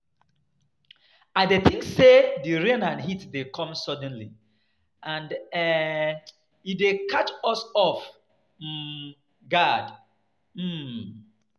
I dey think say di rain and heat dey come suddenly, and um e dey catch us off um guard. um